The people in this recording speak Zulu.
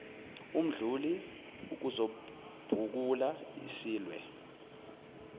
mdluli ukuzobhukula silwe